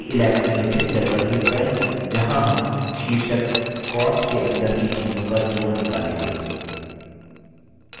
c11 उल्लिखित cell पर click करें जहाँ हम शीर्षक cost के अंदर की चीज़ों का जोड़ निकालेंगे